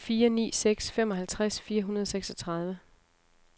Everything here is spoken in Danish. to fire ni seks femoghalvtreds fire hundrede og seksogtredive